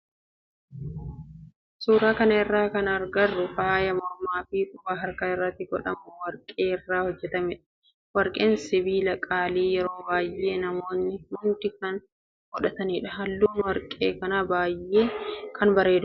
Suuraa kana irratti kana agarru faaya mormaa fi qubaa harka irratti godhamu warqee irraa hojjetamedha. Warqeen sibiila qaalii yeroo baayyee namootni hundi kan hin godhannedha. Halluun warqee kanaa baayyee kan bareedudha.